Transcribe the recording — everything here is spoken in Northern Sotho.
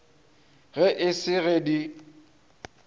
ge e se ge di